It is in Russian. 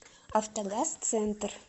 автогазцентр